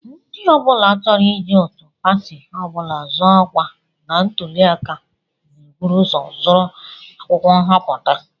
Ndị ọ bụla chọrọ iji otu pati ọ bụla zọọ ọkwa na ntụli aka na-eburu ụzọ zụrụ akwụkwọ nhọpụta